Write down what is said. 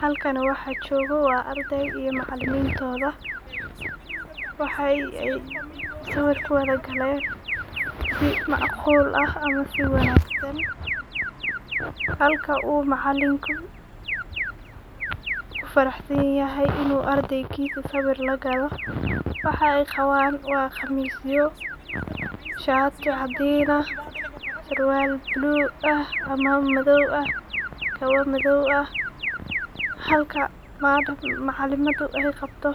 Halkan waxa jogoo wa ardey iyo macalimintodha, waxa ay siwir kuwadha gelen si macqul ah ama siwanagsan, halka uu macalinku kufaraxsanyahy inu ardeygisa siwir lagalo, waxay qaban wa qamisyo, shati cadin ah, surwal blue ah ama madow ah, kabo madow ah, halka macalimada ay qabto